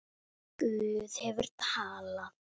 Guð hefur talað.